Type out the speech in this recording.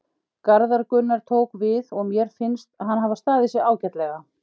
Garðar Gunnar tók við og mér finnst hann hafa staðið sig ágætlega.